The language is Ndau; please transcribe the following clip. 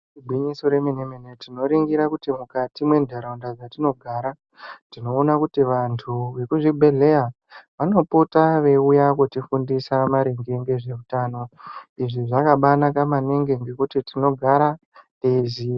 Igwinyiso remene mene tinoringira kuti mukati mwentaraunda dzatinogara tinoona kuti vantu vekuzvibhedhleya vanopota veiuya kutifundisa maringe ngezveutano. Izvi zvakabanaka maningi ngekuti tinogara teiziya.